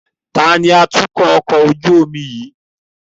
Taàní atukọ̀ ọkọ̀ ojú omi yìí?